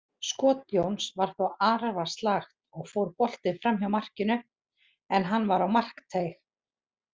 Skot Jóns var þó arfaslakt og fór boltinn framhjá markinu, en hann var á markteig.